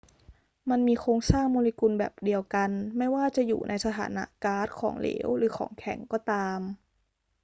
มันมีโครงสร้างโมเลกุลแบบเดียวกัน ไม่ว่าจะอยู่ในสถานะก๊าซ ของเหลว หรือของแข็งก็ตาม